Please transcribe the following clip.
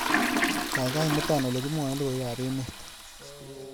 Gaigai imuta olegimwaen logoywekab emet